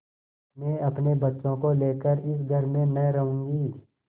मैं अपने बच्चों को लेकर इस घर में न रहूँगी